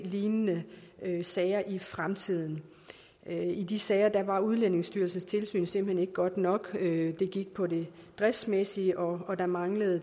lignende sager i fremtiden i de sager var udlændingestyrelsens tilsyn simpelt hen ikke godt nok det gik på det driftsmæssige og der manglede